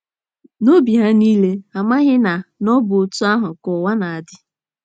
N’obi ha niile, ha amaghị na na ọ bụ otú ahụ ka ụwa na - adị.